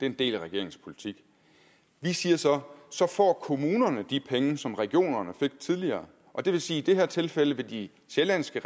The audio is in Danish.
en del af regeringens politik vi siger så så får kommunerne de penge som regionerne fik tidligere og det vil sige at i det her tilfælde vil de sjællandske